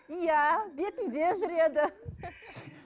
иә бетінде жүреді